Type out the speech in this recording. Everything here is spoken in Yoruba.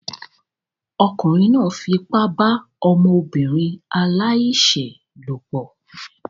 Ọkùnrin náà fipá bá ọmọbìnrin aláìṣẹ̀ lòpọ̀